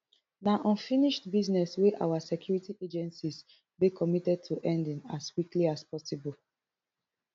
na unfinished business wey our security agencies dey committed to ending as quickly as possible